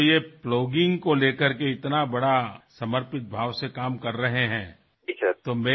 আপুনি যি এই প্লগিঙক লৈ ইমান সমৰ্পিত ভাৱেৰে কাম কৰি আছে